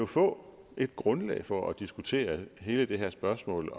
få et grundlag for at diskutere hele det her spørgsmål